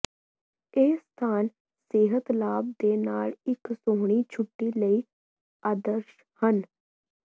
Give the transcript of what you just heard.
ਇਹ ਸਥਾਨ ਸਿਹਤ ਲਾਭ ਦੇ ਨਾਲ ਇੱਕ ਸੋਹਣੀ ਛੁੱਟੀ ਲਈ ਆਦਰਸ਼ ਹਨ